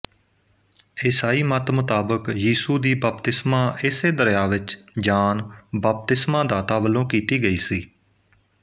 ਇਸਾਈ ਮੱਤ ਮੁਤਾਬਕ ਯੀਸੂ ਦੀ ਬਪਤਿਸਮਾ ਇਸੇ ਦਰਿਆ ਵਿੱਚ ਜਾਨ ਬਪਤਿਸਮਾਦਾਤਾ ਵੱਲੋਂ ਕੀਤੀ ਗਈ ਸੀ